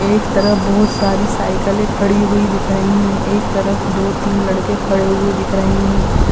एक तरफ बहोत सारी साइकलें खड़ी हुई दिख रही हैं। एक तरफ दो तीन लड़के खड़े हुए दिख रहे हैं।